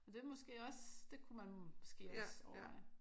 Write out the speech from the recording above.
Det er måske også det kunne man måske også overveje